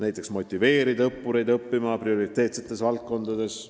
Õppureid motiveeritakse nende abil õppima prioriteetsetes valdkondades.